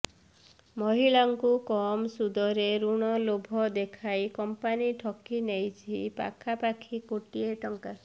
ମହିଳାଙ୍କୁ କମ୍ ସୁଧରେ ଋଣ ଲୋଭ ଦେଖାଇ କମ୍ପାନୀ ଠକି ନେଇଛି ପାଖାପାଖି କୋଟିଏ ଟଙ୍କା